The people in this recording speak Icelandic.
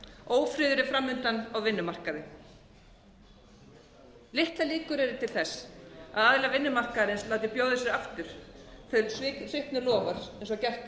ófriður er framundan á vinnumarkaði litlar líkur eru til þess að aðilar vinnumarkaðarins láti bjóða sér aftur þau svikin loforð eins og